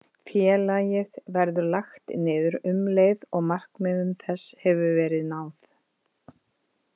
Félagið verður lagt niður um leið og markmiðum þess hefur verið náð.